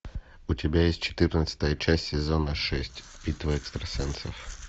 у тебя есть четырнадцатая часть сезона шесть битва экстрасенсов